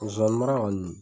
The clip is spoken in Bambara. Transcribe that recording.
Zonzanni mara kɔni .